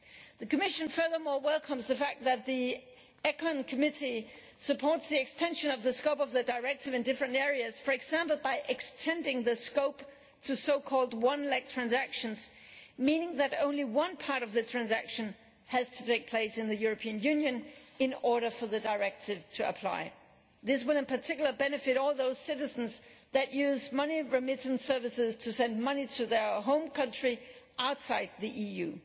The Commission also welcomes the fact that the Committee on Economic and Monetary Affairs supports the extension of the scope of the Directive in different areas, for example by extending the scope to so called one leg transactions, meaning that only one part of the transaction has to take place in the European Union in order for the Directive to apply. This will in particular benefit all those citizens who use money remittance services to send money to their home country outside the EU.